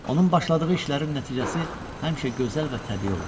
Onun başladığı işlərin nəticəsi həmişə gözəl və təbii olurdu.